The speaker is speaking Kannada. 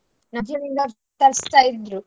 ತರ್ಸ್ತಾ ಇದ್ರು.